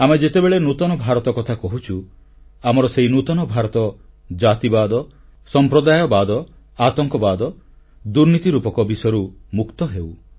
ଆମେ ଯେତେବେଳେ ନୂତନ ଭାରତ କଥା କହୁଛୁ ଆମର ସେହି ନୂତନ ଭାରତ ଜାତିବାଦ ସମ୍ପ୍ରଦାୟବାଦ ଆତଙ୍କବାଦ ଦୁର୍ନୀତି ରୂପକ ବିଷ ବଳୟରୁ ମୁକ୍ତ ହେଉ